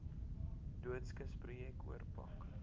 doodskis projek oorpak